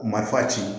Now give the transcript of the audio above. Marifa ci